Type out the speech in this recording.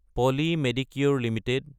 poly Medicure Ltd